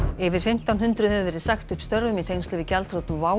yfir fimmtán hundruð hefur verið sagt upp störfum í tengslum við gjaldþrot WOW